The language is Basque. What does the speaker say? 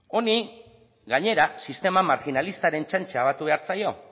honi gainera sistema marginalistaren txantxa gehitu behar zaio